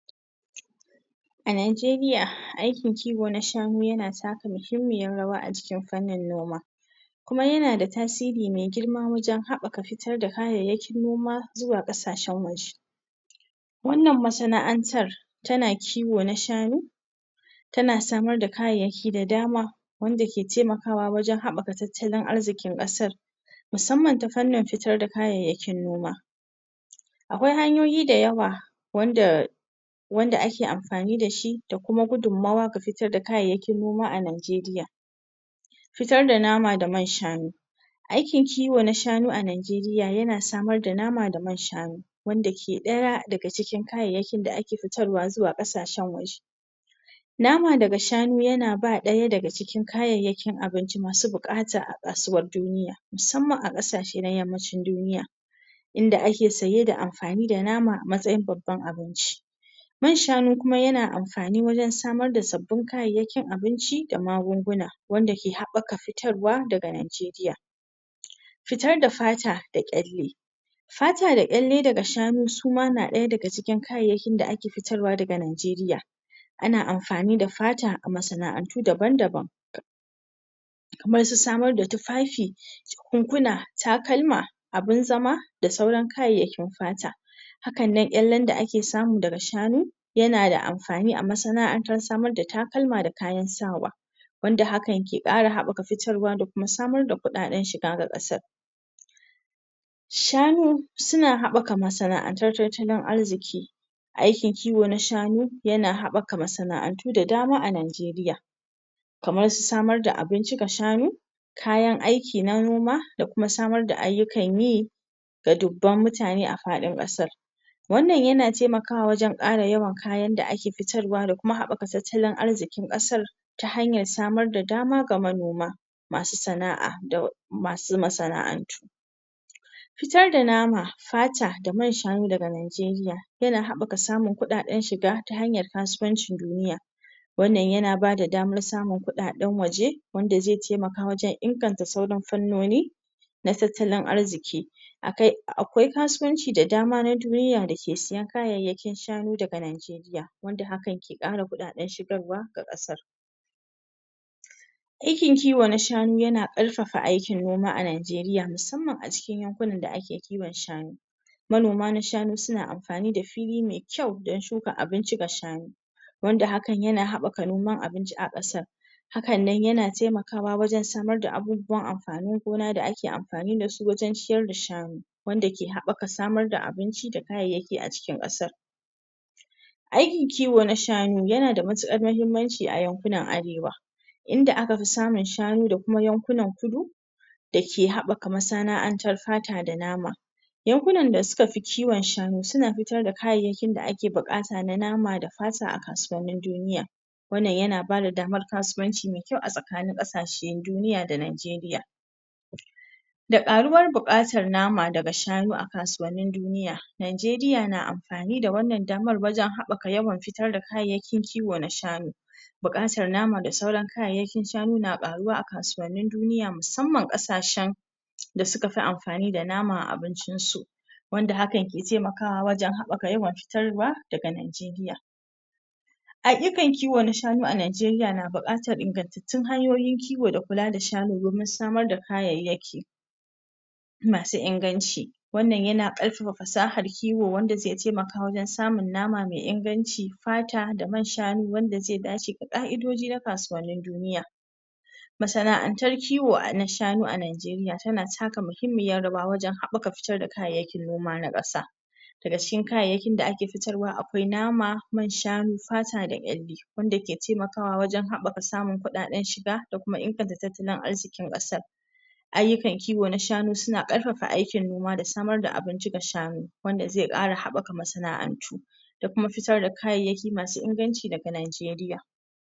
A Najeriya aykin kiwo na shanu yana taka muhimmiyar rawa acikin farnin noma kuma yana da tasiri mai girma wajan habaka kayayyakin noma zuwa kasashen waje wannan masana'antar tana kiwo na shanu tana samar da kayayyaki da dama wanda ke temakawa wajan habaka tattalin arzikin kasa musamman tafiskan fitar da kayayyakin noma akwai hanyoyi da yawa wanda wanda ake amfani da shi dakuma gudummawa da fitar ga kayayyakin noma a Najeriya fitar da nama da manshanu aykin kiwo na shanu a Najeriya yana samar da nama da manshanu wanda ke daya daga cikin kayayyakin da ake fitarwa zuwa kasashen waje nama na daga shanu yana daya daga cikin kayayyaki abinci masu bukata a kasuwan duniya musamman a kasashen yammacin duniya inda ake saye da amfani da nama a matsayin babban abinci manshanu kumma yana amfani wajan samar da sabbin kayan abinci da magunguna wadda ke habbaka futarwa daga Najeriya fitar da fata da kyalle fata da gyalle da shanu suma na daya daga cikin kayayyakin da ake fitarwa daga najeriya ana amfani da fata a masana antu daban-daban wajan samar da tufafi jakunkuna takalma abin zama da sauran kayayyakin fata hakanan kyalle da ake samu daga shanu yana da amfani a masana'antar samar da takalma da kayan sawa wanda hakan yake kara habaka fitarwa da kuma samar da kudaden shiga ga kasar shanu suna habaka masana antar tattalin arziki aykin kiwan na shanu yana habak masana'antu da dama a Najeriya kamar samar da abinci ga shanu kayan ayki na noma da samar da ayyukan yi ga dubban mutane a fadin kasa wannan yana temakawa wajan kara yawan kayan da ake fitarwa da kuma habaka tattalin arzikin kasar ta hayar samar da dama ga manoma masu sana'a da masu masana antu fitar da nama ,fata, da manshanu daga najeriya yana haba sanun kudaden shiga ta hanyar kasuwancin duniya wannan yana bada danar samun kudaden waje wanda zai temaka wajan inganta sauran faarnoni da tattalin arziki akwai kasuwanci da dama na duniya dake sayan kayayyaki daga najeriya wanda hakan ke kara kudaden shigarwa ga kasar aykinkiwa na shanu yana karfafa aykin noma a Najeriya musamman a cin yankunan da ake kiwan shanu manoma na shanu suna amfani da fili mai kyau don shuka abinci ga shanu wanda haka yana habaka noman abinci a kasar hakannan na temakawa wajan samar da abubuwan amfanin gona da ake amfani da su wajan ciyar da shanu wanda ke habaka samar da abinci da kayayyaki a cikin kasar aykin kiwo na shanu yana da matukar mahimmanci a yankunan arewa inda aka fi samun shanu da kuma yankunan kudu dake habaka masana'antar fata da nama yankunan da sukafi kiwan shanu suna fitar da kayayyakin da ake bukata na fata da nama a kasuwan nin duniya wannan yana ba da damar kasuwanci mai kyau a tsakanin kasashen duniya da Najeriya da karuwan bukatar nama daga dashanu a kasuwannin duniya Najeriya na amfani da wannan damar wajan habaka yawan fitar da kayayyaki kiwo na sganu bukar nama da sauran kayayyakin shanu na karuwa a kasuwannin duniya musamman kasashen da sukafi amfani da nama a abincin su wanda hakan yake temaka habaka fitarwa daga Najeriya ayukan kiwo a Najeriya na bukatan ingantaccen ingantaccen hanyoyin kiwo da kula da shanu domin samar da kayayyaki masu inganci wannan yana karfafa fasahar kiwo wanda zai temaka a wajan samun nama mai inganci fata da manshanu wanda zai dace da ka'idoji na kasuwannin duniya masana'antar kiwo na shanu a Najeriya tana taka mahimmiyar rawa wan habaka fitar da kayayyakin noma nakasa daga cikin kayyakin da ake fitarwa akwai nama, manshanu fata da dai wanda ke temakawa wajan habaka samun kudadan shiga da kuma tattala azzikin kasar ayyukan kiwo na shanu suna daukaka noma da samar da abin gina shanu wanda zai kara habaka masana 'antu dakuma fitar da kayayyaki masu inganci daga Njeriya